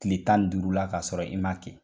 Tile tan ni duurula kasɔrɔ i m'a kɛ